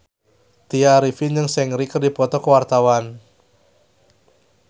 Tya Arifin jeung Seungri keur dipoto ku wartawan